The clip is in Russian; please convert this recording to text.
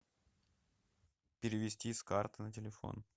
перевести с карты на телефон